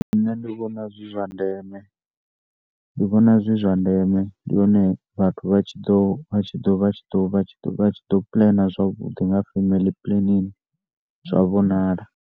Nṋe ndi vhona zwi zwa ndeme, ndi vhona zwi zwa ndeme ndi hone vhathu vha tshi ḓo vha tshi ḓo pulana zwavhuḓi nga femeli pulenini zwa vhonala.